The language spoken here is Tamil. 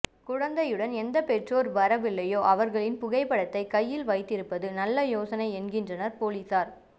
குழந்தையுடன் எந்த பெற்றோர் வரவில்லையோ அவர்களின் புகைப்படத்தைக் கையில் வைத்திருப்பதும் நல்ல யோசனை என்கின்றனர் பொலிசார்